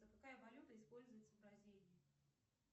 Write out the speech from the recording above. какая валюта используется в бразилии